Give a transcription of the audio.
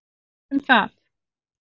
Ertu nú viss um það?